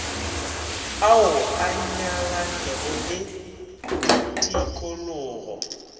ao a nyalanego le ditikologo